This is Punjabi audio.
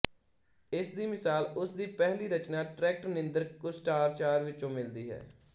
ਇਸ ਦੀ ਮਿਸਾਲ ਉਸ ਦੀ ਪਹਿਲੀ ਰਚਨਾ ਟ੍ਰੈਕਟ ਨਿੰਦਰ ਕੁਸ਼ਟਾਚਾਰ ਵਜੋਂ ਮਿਲਦੀ ਹੈ